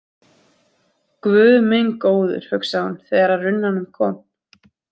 Guð minn góður, hugsaði hún þegar að runnanum kom.